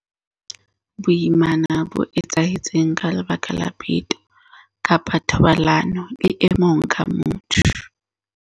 Boimana bo etsahetse ka lebaka la peto kapa thobalano le mong ka motho.